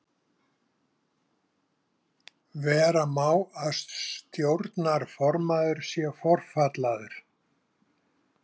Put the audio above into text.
Vera má að stjórnarformaður sé forfallaður.